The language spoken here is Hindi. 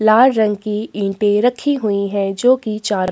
लाल रंग की ईटे रखी हुई है जो की चार--